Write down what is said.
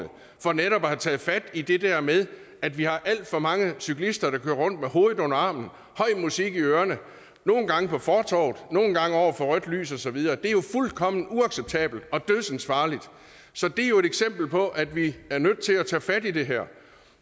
for netop at have taget fat i det der med at vi har alt for mange cyklister der kører rundt med hovedet under armen høj musik i ørerne nogle gange på fortovet nogle gange over for rødt lys og så videre det er jo fuldkommen uacceptabelt og dødsensfarligt så det er jo et eksempel på at vi er nødt til at tage fat i det her